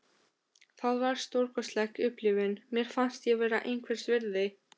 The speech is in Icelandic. Það var stórkostleg upplifun: Mér fannst ég vera einhvers virði.